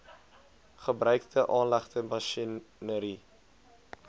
gebruikte aanlegte masjinerie